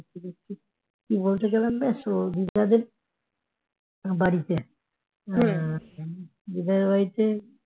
কি বলতে গেলাম রে শুভজিৎ দার বাড়িতে শুভজিৎ দার বাড়িতে